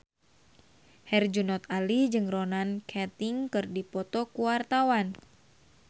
Herjunot Ali jeung Ronan Keating keur dipoto ku wartawan